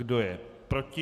Kdo je proti?